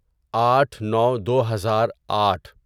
آٹھ نو دوہزار آٹھ